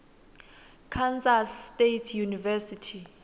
kansas state university